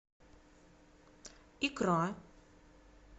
икра